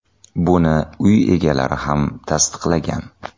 Buni uy egalari ham tasdiqlagan.